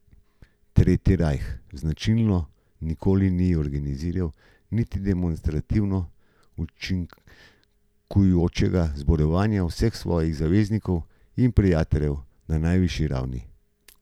Tretji rajh značilno nikoli ni organiziral niti demonstrativno učinkujočega zborovanja vseh svojih zaveznikov in prijateljev na najvišji ravni.